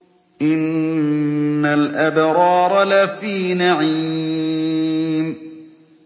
إِنَّ الْأَبْرَارَ لَفِي نَعِيمٍ